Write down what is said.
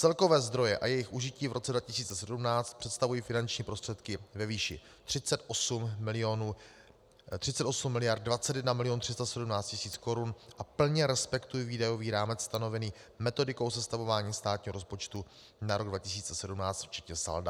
Celkové zdroje a jejich užití v roce 2017 představují finanční prostředky ve výši 38 miliard 21 milionů 317 tisíc korun a plně respektují výdajový rámec stanovený metodikou sestavování státního rozpočtu na rok 2017 včetně salda.